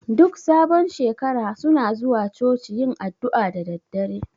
Duk sabon shekara suna zuwa Coci yin addu'a da daddare